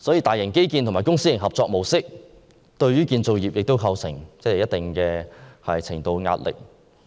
大型基建和公私營合作模式，對建造業亦構成一定程度的壓力。